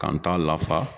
Ka n ta lafa